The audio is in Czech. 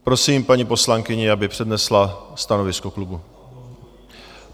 Prosím paní poslankyni, aby přednesla stanovisko klubu.